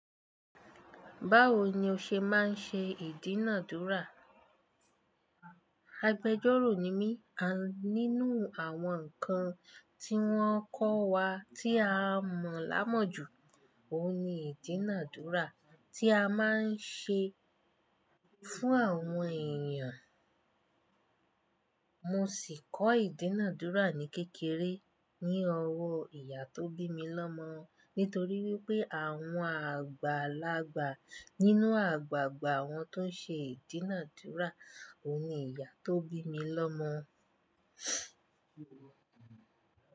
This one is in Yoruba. Báwo ni o ṣe máa ń ṣe ìdínà dúrà? Agbejọ́rò ni mí. Nínú àwọn nǹkan tí wọ́n kọ́ wa tí a mọ̀ lámọ̀ jù, òun ni ìdínà dúrà tí a máa ń ṣe fún àwọn èèyàn. Mo sì kọ́ ìdínàdúrà ní kékeré ní ọwọ́ ìyá tó bí mi lọ́mọ. Nítorí wípé àwọn àgbàlagbà nínú àgbàgbà àwọn tó ṣe ìdínàdúrà òun ni ìyá tó bí mi lọ́mọ.